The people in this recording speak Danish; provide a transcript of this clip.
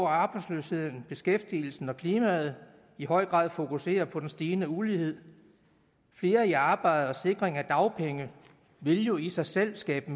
arbejdsløsheden beskæftigelsen og klimaet i høj grad fokusere på den stigende ulighed flere i arbejde og en sikring af dagpengene vil jo i sig selv skabe